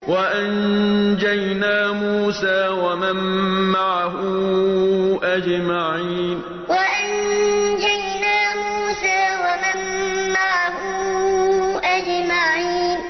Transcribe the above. وَأَنجَيْنَا مُوسَىٰ وَمَن مَّعَهُ أَجْمَعِينَ وَأَنجَيْنَا مُوسَىٰ وَمَن مَّعَهُ أَجْمَعِينَ